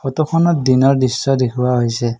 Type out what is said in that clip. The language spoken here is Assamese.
ফটোখনত দিনৰ দৃশ্য দেখুওৱা হৈছে।